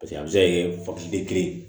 paseke a be se ka kɛ fa terin